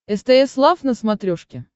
стс лав на смотрешке